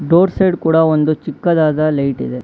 Door side ಕೂಡ ಒಂದು ಚಿಕ್ಕದಾದ ಲೈಟ್ ಇದೆ.